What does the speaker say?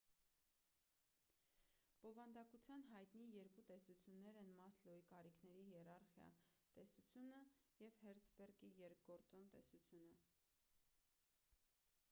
բովանդակության հայտնի երկու տեսություններն են մասլոուի կարիքների հիերարխիա տեսությունը և հերցբերգի երկգործոն տեսությունը